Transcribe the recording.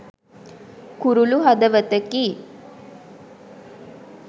කුරුලු හදවතකි